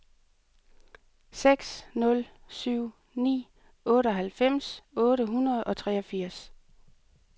seks nul syv ni otteoghalvfems otte hundrede og treogfirs